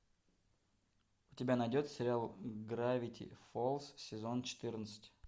у тебя найдется сериал гравити фолз сезон четырнадцать